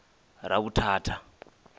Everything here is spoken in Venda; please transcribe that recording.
ravhuthatha